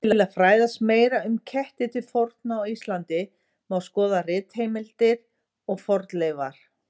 Til að fræðast meira um ketti til forna á Íslandi má skoða ritheimildir og fornleifar.